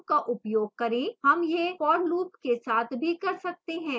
हम यह for loop के साथ भी कर सकते हैं